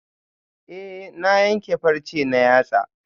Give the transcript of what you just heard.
Eh na yanke farce na yatsa